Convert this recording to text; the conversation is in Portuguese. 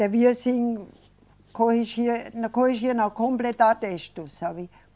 Devia sim corrigir, eh, não corrigir não, completar texto, sabe?